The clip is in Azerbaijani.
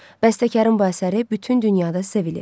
Bəstəkarın bu əsəri bütün dünyada sevilir.